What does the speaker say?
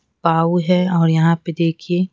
पाव है और यहाँ पे देखिए--